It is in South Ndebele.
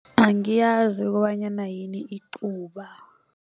Angiyazi ukobanyana yini icuba.